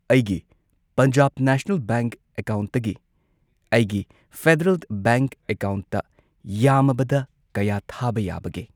ꯑꯩꯒꯤ Punjab national bank ꯑꯦꯀꯥꯎꯟꯠꯇꯒꯤ ꯑꯩꯒꯤ ꯐꯦꯗꯔꯦꯜ ꯕꯦꯡꯛ ꯑꯦꯀꯥꯎꯟꯠꯇ ꯌꯥꯝꯃꯕꯗ ꯀꯌꯥ ꯊꯥꯕ ꯌꯥꯕꯒꯦ?